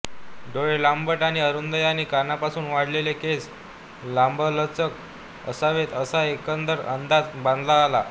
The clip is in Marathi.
डोळे लांबट आणि अरूंद आणि कानांपासून वाढलेले केस लांबलचक असावेत असा एकंदर अंदाज बांधता आला